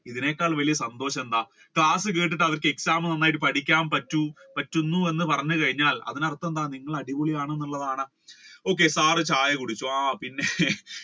ഇതിനേക്കാൾ സന്തോഷം എന്താണ് class കേട്ടിട്ട് exam നിങ്ങളക്ക് നന്നായിട്ട് അവർക്ക് പഠിക്കാൻ പറ്റു~പറ്റുന്നു എന്ന് പറഞ്ഞു കഴിഞ്ഞാൽ അതിന് അർഥം എന്താണ് നിങ്ങൾ അടിപൊളി ആണെന്നുള്ളതാണ്. okay sir ചായ കുടിച്ചോ പിന്നെ